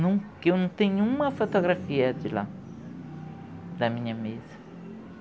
Não, que eu não tenho uma fotografia de lá, da minha mesa.